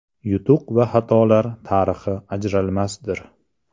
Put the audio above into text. Yutuq va xatolar tarixi ajralmasdir.